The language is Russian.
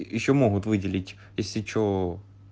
ещё могут выделить если что